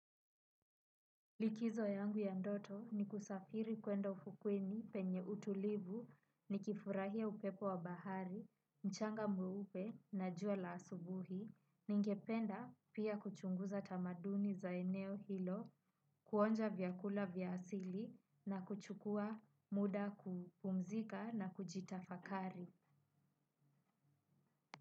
Likizo yangu ya ndoto ni kusafiri kwenda ufukweni penye utulivu, nikifurahia upepo wa bahari, mchanga mweupe na jua la asubuhi. Ningependa pia kuchunguza tamaduni za eneo hilo, kuonja vyakula vya aili na kuchukua muda kupumzika na kujitafakari.